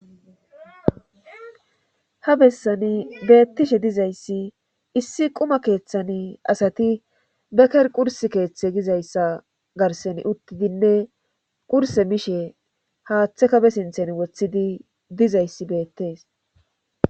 ha bessani beettishe dizayssi issi quma keeththani asati beker qurs keeththe gizayssa garsen uttidinne qurse mishe haaththe kobe sinthen wothidi dizayssi beettees